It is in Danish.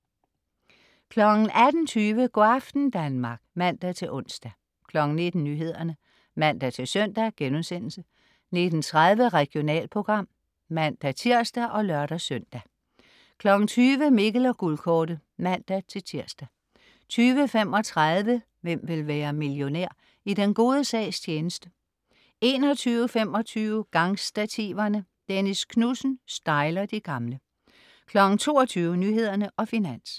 18.20 Go' aften Danmark (man-ons) 19.00 Nyhederne (man-søn)* 19.30 Regionalprogram (man-tirs og lør-søn) 20.00 Mikkel og Guldkortet (man-tirs) 20.35 Hvem vil være millionær?. I den gode sags tjeneste 21.25 Gangstativerne. Dennis Knudsen styler de gamle 22.00 Nyhederne og Finans